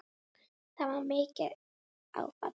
Það var mikið áfall.